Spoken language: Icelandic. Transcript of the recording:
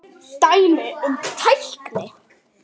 Dæmi um tækni